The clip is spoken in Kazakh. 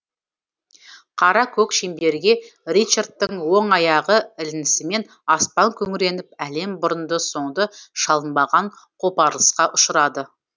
қара көк шеңберге ричардтың оң аяғы ілінісімен аспан күңіреніп әлем бұрынды соңды шалынбаған қопарылысқа ұшырады